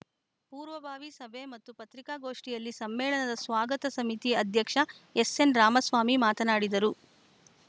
ಪೂರ್ವಭಾವಿ ಸಭೆ ಮತ್ತು ಪತ್ರಿಕಾಗೋಷ್ಠಿಯಲ್ಲಿ ಸಮ್ಮೇಳನದ ಸ್ವಾಗತ ಸಮಿತಿ ಅಧ್ಯಕ್ಷ ಎಸ್‌ಎನ್‌ ರಾಮಸ್ವಾಮಿ ಮಾತನಾಡಿದರು